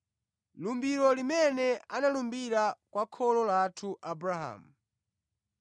lumbiro limene analumbira kwa kholo lathu Abrahamu: